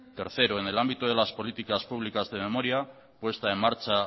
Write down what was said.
tercero en el ámbito de las políticas públicas de memoria puesta en marcha